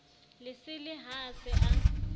lesele ha a se a